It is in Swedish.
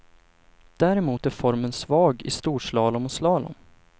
Däremot är formen svag i storslalom och slalom.